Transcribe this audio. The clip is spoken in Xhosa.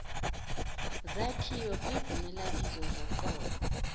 zakhiwa kwizimelabizo zoqobo